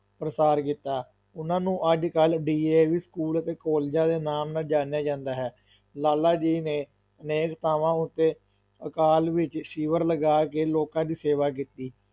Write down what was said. ਪ੍ਰਸਾਰ ਕੀਤਾ, ਉਹਨਾਂ ਨੂੰ ਅੱਜ-ਕੱਲ DAV School ਅਤੇ ਕਾਲਜਾਂ ਦੇ ਨਾਮ ਨਾਲ ਜਾਣਿਆ ਜਾਂਦਾ ਹੈ, ਲਾਲਾਜੀ ਨੇ ਅਨੇਕ ਥਾਂਵਾਂ ਉੱਤੇ ਅਕਾਲ ਵਿੱਚ ਸ਼ਿਵਿਰ ਲਗਾ ਕੇ ਲੋਕਾਂ ਦੀ ਸੇਵਾ ਕੀਤੀ।